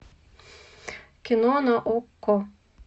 кино на окко